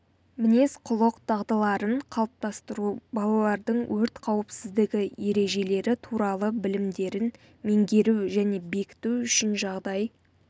мінез құлық дағдыларын қалыптастыру балалардың өрт қауіпсіздігі ережелері туралы білімдерін меңгеру және бекіту үшін жағдай